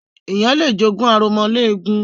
Ènìyàn lé jogún aromọléegun.